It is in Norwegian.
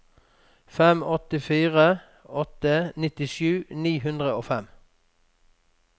fem åtte fire åtte nittisju ni hundre og fem